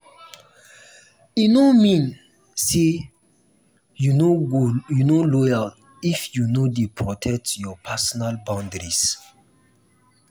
e no mean say you no loyal if you dey protect your personal boundaries.